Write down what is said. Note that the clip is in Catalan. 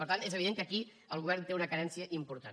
per tant és evident que aquí el govern té una carència important